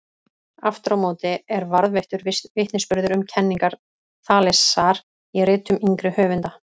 Aftur á móti er varðveittur vitnisburður um kenningar Þalesar í ritum yngri höfunda.